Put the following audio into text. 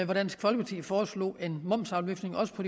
hvor dansk folkeparti foreslog en momsafløftning også på